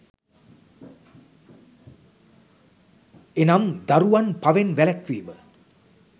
එනම්, දරුවන් පවෙන් වැළැක්වීම,